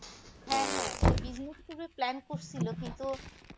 হ্যা হ্যা সে business করবে plan কিন্তু